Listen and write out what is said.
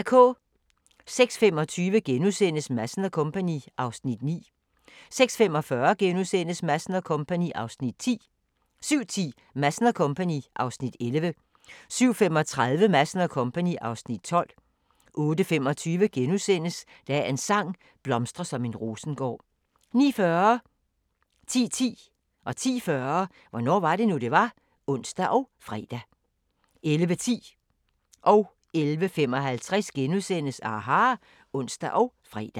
06:25: Madsen & Co. (Afs. 9)* 06:45: Madsen & Co. (Afs. 10)* 07:10: Madsen & Co. (Afs. 11) 07:35: Madsen & Co. (Afs. 12) 08:25: Dagens sang: Blomstre som en rosengård * 09:40: Hvornår var det nu, det var? (ons og fre) 10:10: Hvornår var det nu, det var? (ons og fre) 10:40: Hvornår var det nu, det var? (ons og fre) 11:10: aHA! *(ons og fre) 11:55: aHA! *(ons og fre)